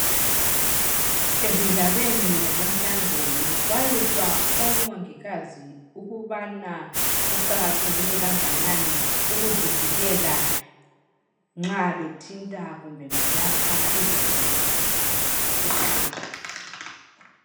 Ezindabeni zanamhlanje bekuxwayiswa omongikazi ukubana kuqakatheke kanganani ukuzivikela nxa bethinta kumbe belapha izigulane zabo.